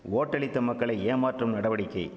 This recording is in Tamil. ஓட்டளித்த மக்களை ஏமாற்றும் நடவடிக்கை